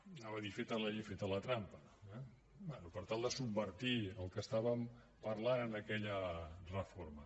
anava a dir feta la llei feta la trampa eh bé subvertir el que estàvem parlant en aquella reforma